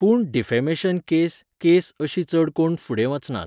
पूण defamation case case अशी चड कोण फुडें वचनात.